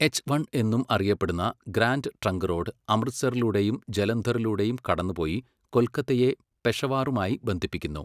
H one എന്നും അറിയപ്പെടുന്ന Grand Trunk Road അമൃത്സറിലൂടെയും ജലന്ധറിലൂടെയും കടന്നുപോയി കൊൽക്കത്തയെ പെഷവാറുമായി ബന്ധിപ്പിക്കുന്നു.